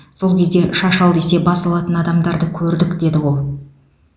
сол кезде шаш ал десе бас алатын адамдарды көрдік деді ол